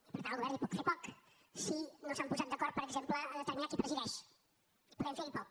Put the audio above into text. i per tant el govern hi pot fer poc si no s’han posat d’acord per exemple a determinar qui presideix podem ferhi poc